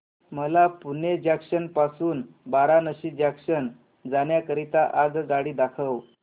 मला पुणे जंक्शन पासून वाराणसी जंक्शन जाण्या करीता आगगाडी दाखवा